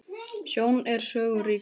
Sjón er sögu ríkari!